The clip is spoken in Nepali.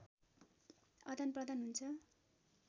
आदानप्रदान हुन्छ